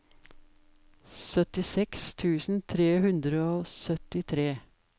syttiseks tusen tre hundre og syttitre